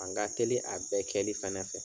An ka teli a bɛɛ kɛli fɛnɛ fɛ.